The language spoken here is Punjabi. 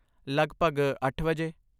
ਲੱਗਭਗ ਅੱਠ ਵਜੇ?